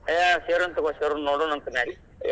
ಏ ಸೇರುನ್ ತೂಗೋ ಸೇರುನ್ ನೋಡುನಂತ್ ಬ್ಯಾರೆ.